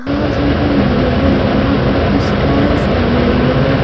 घास उगे हुए हैं यहां पर कुछ टायर्स लगे हुए हैं।